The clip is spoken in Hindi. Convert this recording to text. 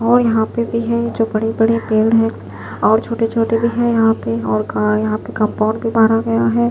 और यहां पे भी है जो बड़े-बड़े पेड़ है और छोटे-छोटे भी यहां पे और यहां पे कंपाउंड भी मारा गया है।